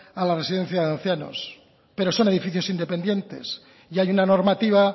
a la residencia de ancianos pero son edificios independientes y hay una normativa